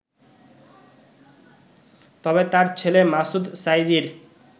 তবে তাঁর ছেলে মাসুদ সাঈদীর